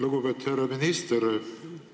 Lugupeetud härra minister!